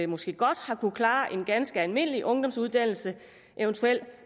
måske godt har kunnet klare en ganske almindelig ungdomsuddannelse eventuelt